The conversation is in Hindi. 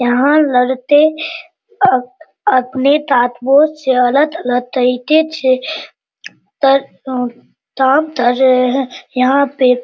यहाँ लड़के अप अपने कार्ड बोर्ड से अलग-अलग तरीके से क काम कर रहे है यहाँ पे --